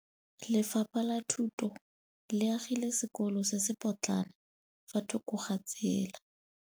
Lefapha la Thuto le agile sekôlô se se pôtlana fa thoko ga tsela.